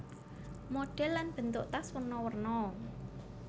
Modhèl lan bentuk tas werna werna